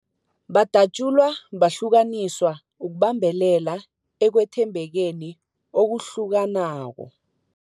Badatjulwa, bahlukaniswa ukubambelela ekwethembekeni okuhlukanako.